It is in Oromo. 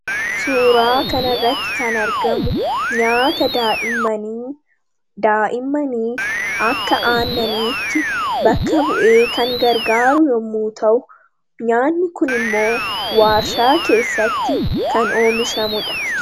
Suuraa kanarratti kan argamu nyaata daa'immanii daa'immaniif akka aannaniitti bakka bu'ee kan gargaaru yommuu ta'u, nyaanni kun immoo waarshaa keessatti kan oomishamu dha.